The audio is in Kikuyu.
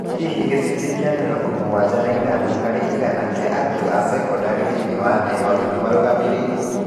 Hihi gĩcunjĩ kĩa mĩrongo mũgwanja na ithano harĩ igana kĩa arutwo a sekondarĩ thĩinĩ wa thĩ yothe nĩ marũgamĩrĩrwo?